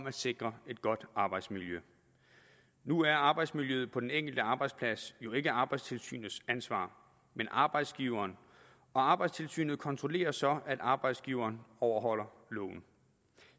at sikre et godt arbejdsmiljø nu er arbejdsmiljøet på den enkelte arbejdsplads jo ikke arbejdstilsynets ansvar men arbejdsgiverens og arbejdstilsynet kontrollerer så at arbejdsgiveren overholder loven